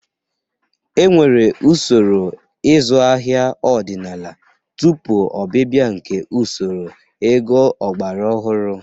E nwere usoro ịzụ ahịa ọdịnala tupu ọbịbịa nke usoro ego ọgbara ọhụrụ.